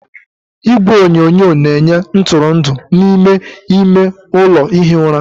Igwe onyonyo na-enye ntụrụndụ n'ime ime ụlọ ihi ụra.